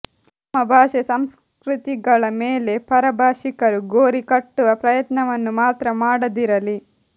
ನಮ್ಮ ಭಾಷೆ ಸಂಸ್ಕೃತಿಗಳ ಮೇಲೆ ಪರಭಾಷಿಕರು ಗೋರಿಕಟ್ಟುವ ಪ್ರಯತ್ನವನ್ನು ಮಾತ್ರ ಮಾಡದಿರಲಿ